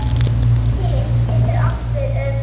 Kyn getur átt við um